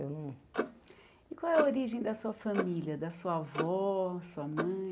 Eu não e qual é a origem da sua família, da sua avó, sua mãe?